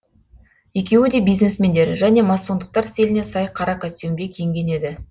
екеуі де бизнесмендер және массондықтар стиліне сай қара костьюмде киінген еді